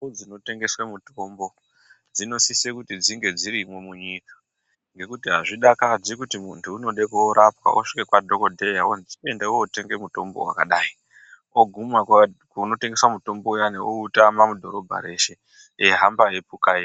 Ndau dzinotengese mitombo dzinosise kunge dzirimo munyika. Ngekuti azvidakadzi kuti muntu unode korapwa wosvike kwadhogodheya, wonzi ende wotenge mutombo wakadai, woguma kunotengesw mutombo uyani outama mudhorobha reshe eihamba eipukaira.